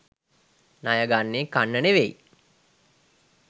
ණය ගන්නේ කන්න ‍නෙවෙයි